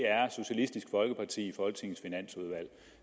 er socialistisk folkeparti